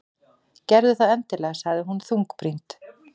Gerðu það endilega- sagði hún þungbrýnd.